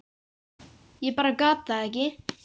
Ég bara gat það ekki.